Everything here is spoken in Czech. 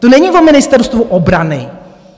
To není o Ministerstvu obrany.